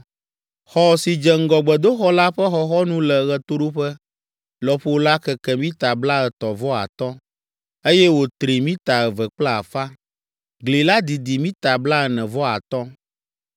Xɔ si dze ŋgɔ gbedoxɔ la ƒe xɔxɔnu le ɣetoɖoƒe lɔƒo la keke mita blaetɔ̃ vɔ atɔ̃, eye wòtri mita eve kple afã. Gli la didi mita blaene-vɔ-atɔ̃.